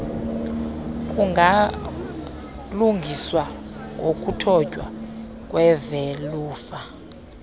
kungalungiswa ngokuthotywa kwevelufa